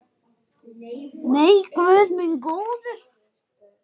Nei, guð minn góður.